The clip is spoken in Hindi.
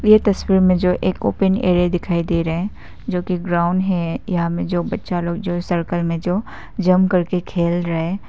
ये तस्वीर में जो एक ओपेन एरिया दिखाई दे रहा है जो कि ब्राउन है यहां में जो बच्चा लोग जो इस सर्कल में जो जंप करके खेल रहे।